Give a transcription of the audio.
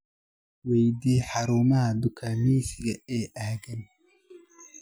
weydii xarumaha dukaamaysiga ee aaggan